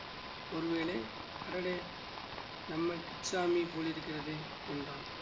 ஒரு வேளை அடேடே நம்ம கிச்சாமி போலிருக்கிறதே என்றான்